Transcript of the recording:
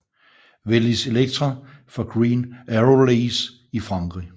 Velis Electro fra Green Aerolease i Frankrig